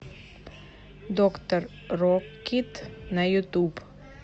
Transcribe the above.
доктор рокит на ютуб